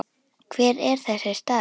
Hver er þessi staður?